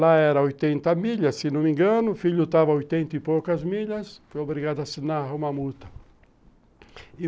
Lá era oitenta milhas, se não me engano, o filho estava a oitenta e poucas milhas, foi obrigado a assinar uma multa.